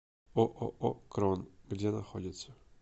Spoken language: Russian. ооо крон где находится